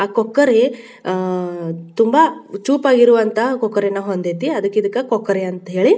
ಆ ಕೊಕ್ಕರೆ ಅಅ ತುಂಬಾ ಚುಉಪಜಿರ್ವಂಥ ಕೊಕ್ಕರೆ ನಾ ಹೋಂ ದೈತಿ ಅದ್ಕೆ ಇದ್ನ ಕೊಕ್ಕರೆ ಅಂತೀಳಿ .